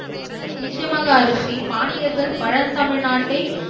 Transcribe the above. நிச்சயமாக அரூசி பாண்டியர்கள் பழந்தமிழ் நாட்டை